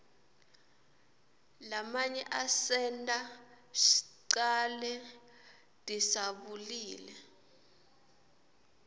lamanye asenta shcale disabulile